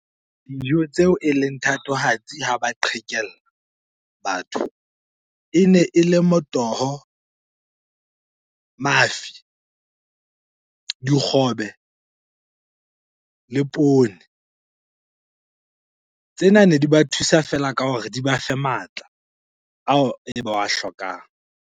Dijo tseo eleng thatohatsi ha ba qhekella batho. Ene e le motoho, mafi, dikgobe le poone. Tsena nedi ba thusa feela ka hore di ba fe matla ao ba a hlokang.